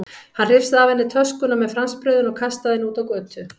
Hann hrifsaði af henni töskuna með franskbrauðinu og kastaði henni út á götu.